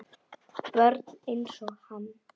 Börn einsog hann.